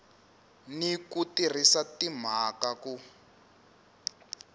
ni ku tirhisa timhaka ku